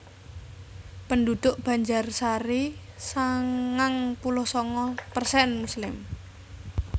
Penduduk Banjarsari sangang puluh sanga persen muslim